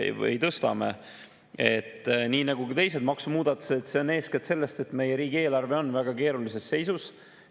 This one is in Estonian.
Nii nagu ka teiste maksumuudatuste puhul on see eeskätt selles, et meie riigieelarve on väga keerulises seisus.